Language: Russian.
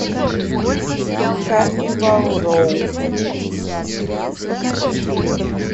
карнивал роу